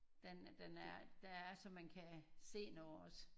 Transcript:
Den er den er der er så man kan se noget også?